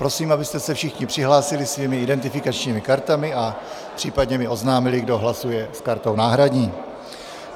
Prosím, abyste se všichni přihlásili svými identifikačními kartami a případně mi oznámili, kdo hlasuje s kartou náhradní.